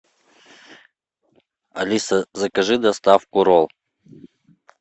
алиса закажи доставку ролл